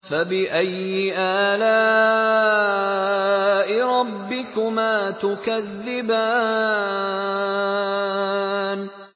فَبِأَيِّ آلَاءِ رَبِّكُمَا تُكَذِّبَانِ